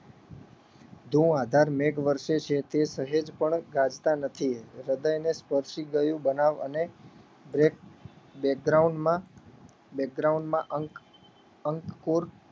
ધુંઆધાર મેઘ વરસે છે તે સહેજ પણ ગાજતા નથી એ હૃદયને સ્પર્શી ગયું બનાવ અને back માં માં અંક અંક કુર